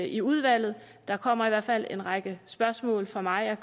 i udvalget der kommer i hvert fald en række spørgsmål fra mig jeg